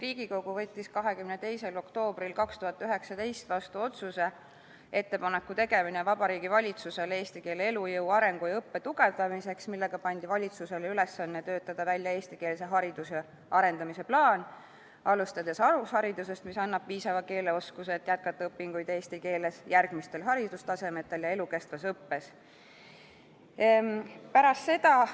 Riigikogu võttis 22. oktoobril 2019 vastu otsuse "Ettepaneku tegemine Vabariigi Valitsusele eesti keele elujõu, arengu ja õppe tugevdamiseks", millega pandi valitsusele ülesanne töötada välja eestikeelse hariduse arendamise plaan, alustades alusharidusest, mis annab piisava keeleoskuse, et jätkata õpinguid eesti keeles järgmistel haridustasemetel ja elukestvas õppes.